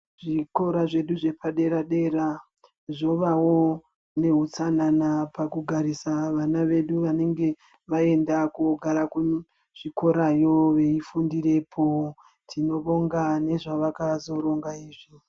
Zvikora zvedu zvepadera-dera zvovawo nehutsanana pakugarisa vana vedu vanenge vaenda kuzvikorayo veifundirepo. Tinobonga ngezva vakazoronga izvi.